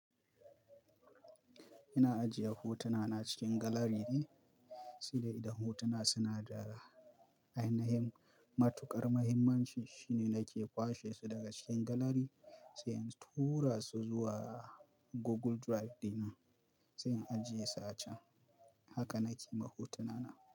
Ina ajiye hotuna na cikin galari ne, sai dai idan hotuna suna da ainahin matuƙar mahimmanci shine nake kwashe su daga cikin galari, sai in tura su zuwa Google Drive dina, sai in ajiye su a can. Haka nike ma hotuna na.